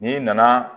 N'i nana